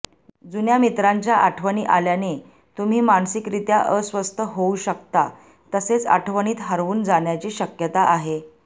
जुन्या मित्रांच्या आठवणी आल्याने तुम्ही मानसिकरीत्या अस्वस्थ होऊ शकता तसेच आठवणीत हरवून जाण्याची शक्यता आहे